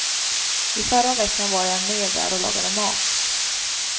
I förra veckan var jag med där och lagade mat.